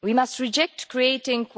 We must reject that we are creating